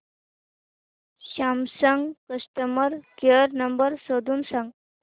Samsung customer care number शोधून सांग